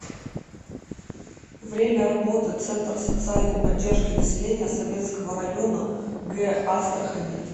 время работы центр социальной поддержки населения советского района г астрахани